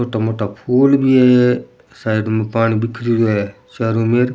मोटा मोटा फूल भी है साइड में पानी बिखरो है चारो मेंर।